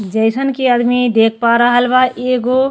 जइसन के आदमी देख पारहल एगो।